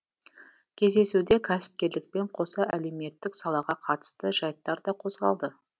кездесуде кәсіпкерлікпен қоса әлеуметтік салаға қатысты жайттар да қозғалды